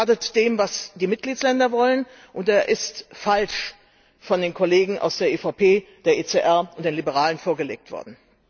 Er schadet dem, was die Mitgliedstaaten wollen, und er ist falsch von den Kollegen aus der EVP, der ECR und den Liberalen vorgelegt worden.